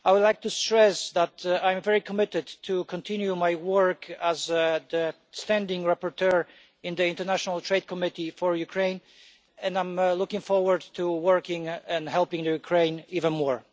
I would like to stress that I am very committed to continuing my work as the standing rapporteur in the International Trade Committee for Ukraine, and I am looking forward to working and helping Ukraine even more.